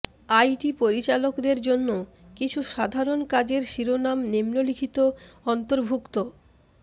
IT পরিচালকদের জন্য কিছু সাধারণ কাজের শিরোনাম নিম্নলিখিত অন্তর্ভুক্ত